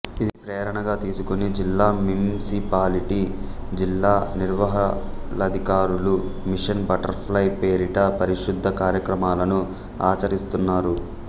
ఇది ప్రేరణగా తీసుకుని జిల్లా మింసిపాలిటీ జిల్లా నిర్వహళాధికారులు మిషన్ బటర్ ఫ్లై పేరిట పారిశుద్ధ కార్యక్రమాలను ఆచరిస్తున్నారు